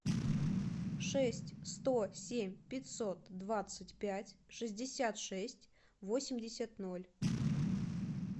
шесть сто семь пятьсот двадцать пять шестьдесят шесть восемьдесят ноль